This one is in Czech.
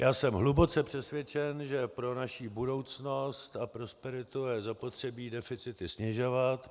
Já jsem hluboce přesvědčen, že pro naši budoucnost a prosperitu je zapotřebí deficity snižovat.